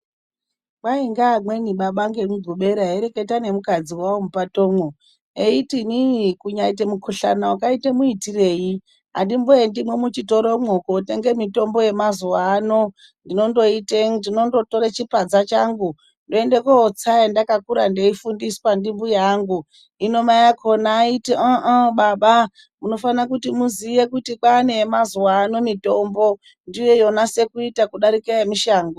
Kwai ngeamweni baba ngemugubera eireketa ngemukadzi wawo mupatomwo eyiti, inini kunyaita mukhushana wakaita muitirei andiendiyo muchitoromwo kutenge mitombo yemazuwano. Ndinondotora chipadza changu ndoende kotsa mitombo yandakakura ndeifundiswa ndimbuya angu. Hino mai achona aiti hayiwa baba munofane kuziya kuti kwaane yemazuano mitombondiyo yonase kuita kudarika yemushango.